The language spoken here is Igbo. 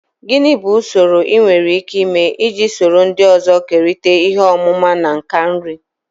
Gini bu usoro enwere ike ịme iji soro ndị ọzọ kerịta ihe ọmụma na nka nri?